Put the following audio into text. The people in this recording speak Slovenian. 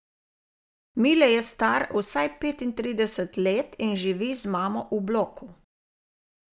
Mile je star vsaj petintrideset let in živi z mamo v bloku.